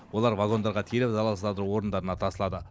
олар вагондарға тиеліп залалсыздандыру орындарына тасылады